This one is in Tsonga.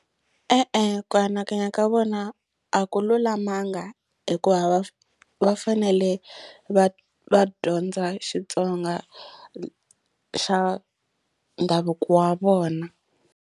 E-e ku anakanya ka vona a ku lulamanga hikuva va va fanele va va dyondza Xitsonga xa ndhavuko wa vona.